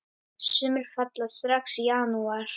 Sumir falla strax í janúar.